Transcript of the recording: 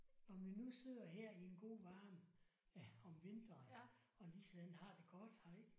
Om vi nu sidder her i en god varm ja om vinteren og ligesådan har det godt her ik